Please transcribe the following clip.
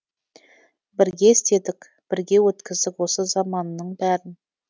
бірге істедік бірге өткіздік осы заманның бәрін